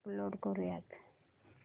upload करुयात